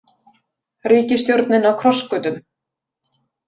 Ríkisstjórnin á krossgötum